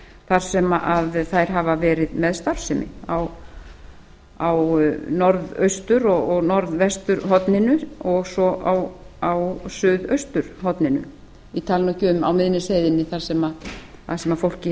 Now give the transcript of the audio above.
þar sem þær hafa verið með starfsemi á norðaustur og norðvesturhorninu og svo á suðausturhorninu ég tala nú ekki um á miðnesheiðinni þar sem fólk